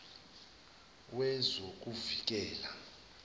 wezokuvikela